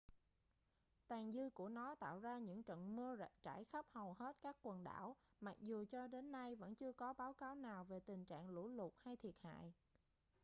tàn dư của nó tạo ra những trận mưa trải khắp hầu hết các quần đảo mặc dù cho đến nay vẫn chưa có báo cáo nào về tình trạng lũ lụt hay thiệt hại